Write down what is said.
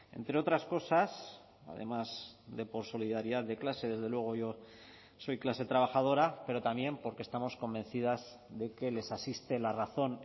entre otras cosas además de por solidaridad de clase desde luego yo soy clase trabajadora pero también porque estamos convencidas de que les asiste la razón